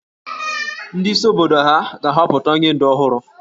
Ndị isi obodo hà ga-ahọpụta onye ǹdù ọhụrụ?